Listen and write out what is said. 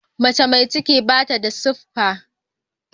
Mace mai ciki bata da siffa.